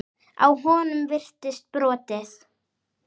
Á honum virtist brotið.